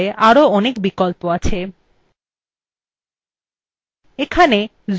preview পৃষ্ঠার tool bar আরো অনেক বিকল্প আছে